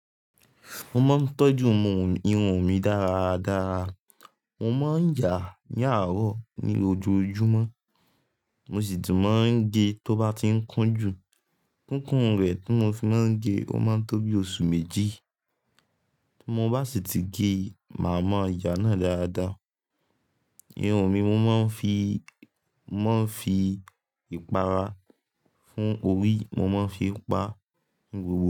Mo máa ń tọ́jú irun mi dára dára. Mo máa ń yà á ní àárọ̀ ní ojoojúmọ́, mo sì tun máa ń gẹ̀ ẹ́ tó bá ti ń kún jù. Kíkún rẹ̀ tí mo fi máa ń gẹ̀ ẹ́, ó máa ń tó bí oṣù méjì. Bí mo bá sì ti gé ẹ́, màá mọ ìyà náà dáadáa. Irun mi mo máa ń fi, mo máa ń fi ìpara fún orí, mo máa ń fi pa ni gbogbo.